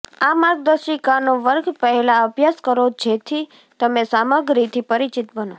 આ માર્ગદર્શિકાનો વર્ગ પહેલાં અભ્યાસ કરો જેથી તમે સામગ્રીથી પરિચિત બનો